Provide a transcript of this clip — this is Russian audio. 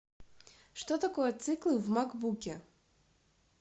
что такое циклы в макбуке